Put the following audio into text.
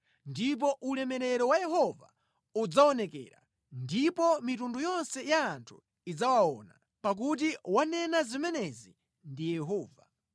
Ndipo ulemerero wa Yehova udzaonekera, ndipo mitundu yonse ya anthu idzawuona, pakuti wanena zimenezi ndi Yehova.”